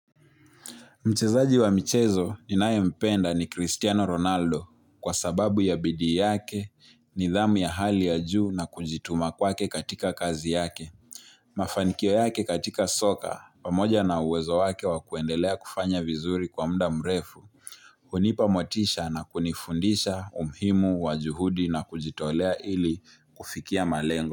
Mchezaji wa michezo ninayempenda ni Cristiano Ronaldo kwa sababu ya bidii yake, nidhamu ya hali ya juu na kujituma kwake katika kazi yake. Mafanikio yake katika soka, pamoja na uwezo wake wa kuendelea kufanya vizuri kwa muda mrefu. Hunipa motisha na kunifundisha umuhimu wa juhudi na kujitolea ili kufiki malengo.